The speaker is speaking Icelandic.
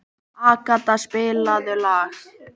Agata, spilaðu lag.